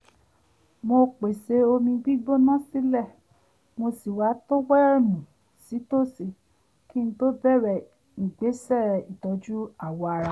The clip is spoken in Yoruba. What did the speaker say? mo pèsè omi gbígbóná sílẹ̀ mo sì wá tówẹ́ẹ̀nù sí tòsí kí n tó bẹ̀rẹ̀ ìgbésẹ̀ ìtọ́jú awọ ara